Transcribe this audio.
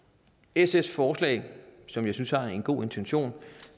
sfs forslag som jeg synes har en god intention